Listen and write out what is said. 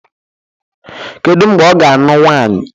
Kedu mgbe ọ ga-anụ nwaanyi?